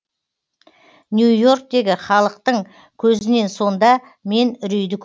нью и орктегі халықтың көзінен сонда мен үрейді көрдім